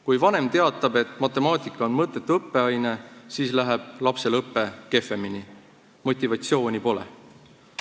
Kui vanem teatab, et matemaatika on mõttetu õppeaine, siis läheb lapsel õpe kehvemini, sest motivatsiooni pole.